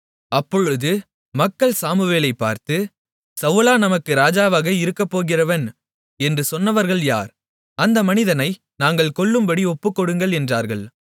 அப்பொழுது மக்கள் சாமுவேலைப் பார்த்து சவுலா நமக்கு ராஜாவாக இருக்கப்போகிறவன் என்று சொன்னவர்கள் யார் அந்த மனிதனை நாங்கள் கொல்லும்படி ஒப்புக்கொடுங்கள் என்றார்கள்